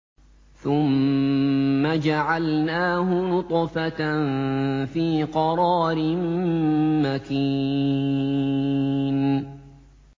ثُمَّ جَعَلْنَاهُ نُطْفَةً فِي قَرَارٍ مَّكِينٍ